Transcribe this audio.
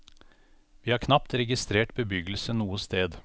Vi har knapt registrert bebyggelse noe sted.